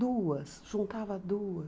Duas, juntava duas.